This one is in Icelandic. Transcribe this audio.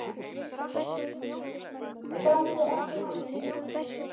Gangi þér allt í haginn, Súsanna.